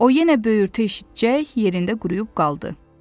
O yenə böyürtü eşitcək yerində quruyub qaldı.